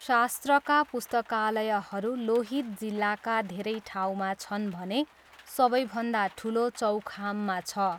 शास्त्रका पुस्तकालयहरू लोहित जिल्लाका धेरै ठाउँमा छन् भने सबैभन्दा ठुलो चौखाममा छ।